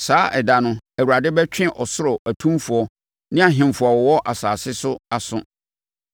Saa ɛda no, Awurade bɛtwe ɔsoro atumfoɔ ne ahemfo a ɛwɔ asase so aso.